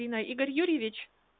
и на игорь юрьевич